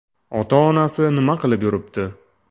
Ota-onasi nima qilib yuribdi?